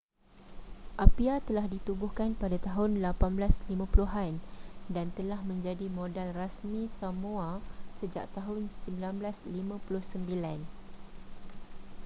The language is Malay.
apia telah ditubuhkan pada tahun 1850-an dan telah menjadi modal rasmi samoa sejak tahun 1959